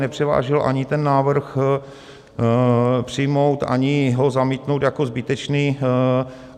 Nepřevážil ani ten návrh přijmout, ani ho zamítnout jako zbytečný.